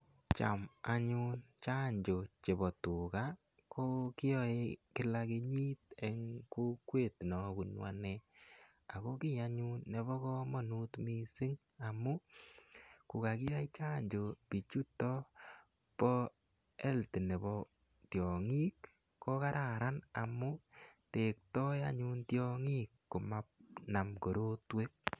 Cham anyun chanjo chepo tuga ko kiyae kila kenyit eng' kokwet ne apunu ane. Ako ki anyun ne po kamanut missing' amu ko kakiyai chanjo pichuto pa health nepo tiang'ik ko kararan amu tektai tiang'ik manam korotwek.